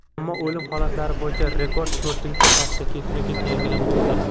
ammo o‘lim holatlari bo‘yicha rekord to‘rtinchi hafta ketma-ket yangilanmoqda.